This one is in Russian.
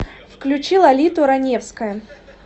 включи лолиту раневская